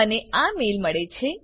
મને આ મેઈલ મળે છે